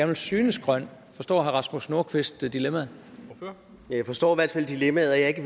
vil synes grøn forstår herre rasmus nordqvist dilemmaet dilemmaet